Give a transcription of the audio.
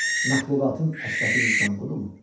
Məxluqatın əşrəfi insan budumu?